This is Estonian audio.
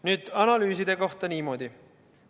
Nüüd, analüüside kohta ütlen niimoodi.